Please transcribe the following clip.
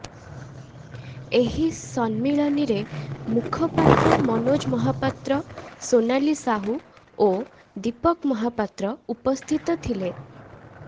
ଏହି ସମ୍ମିଳନୀରେ ମୁଖପାତ୍ର ମନୋଜ ମହାପାତ୍ର ସୋନାଲି ସାହୁ ଓ ଦୀପକ ମହାପାତ୍ର ଉପସ୍ଥିତ ଥିଲେ